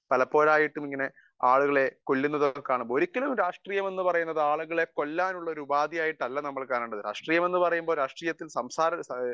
speaker 1 പലപ്പോഴും ആയിട്ട് ഇങ്ങനെ ആളുകളെ കൊല്ലുന്നത് കാണുമ്പോൾ ഒരിക്കലും ഒരു രാഷ്ട്രീയം എന്ന് പറയുന്നത് ആളുകളെ കൊല്ലാനായിട്ടുള്ള ഉപാധി ആയിട്ടല്ല കാണേണ്ടത് രാഷ്ട്രീയം എന്ന് പറഞ്ഞാൽ രാഷ്ട്രീയത്തിൽ